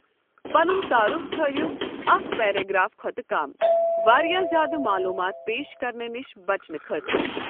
پنُن تعارُف تٔھاوِو اکھ پیراگراف کھوتہٕ کم، واریاہ زیادٕ معلوٗمات پیش کرنہٕ نِش بچنہٕ خٲطرٕ ۔